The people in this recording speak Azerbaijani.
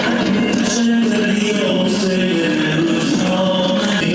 Heydər, Heydər, bu Seyyid nəzarətdən, ya Seyyid nəzarət!